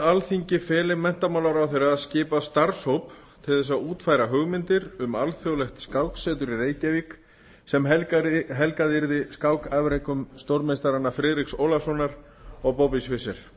alþingi feli menntamálaráðherra að skipa starfshóp til að útfæra hugmyndir um alþjóðlegt skáksetur í reykjavík sem helgað yrði skákafrekum stórmeistaranna friðriks ólafssonar og bobbys fischers